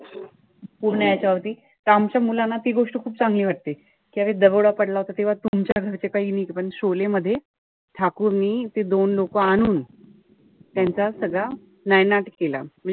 पूर्ण त्याच्यावरती त आमच्या मुलांना ती गोष्ट खूप चांगली वाटली. कि अरे दरोडा पडला होता तेव्हा तुमच्या घरचे पण मध्ये, ठाकूरने ते दोन लोकं आणून, त्यांचा सगळं नायनाट केला.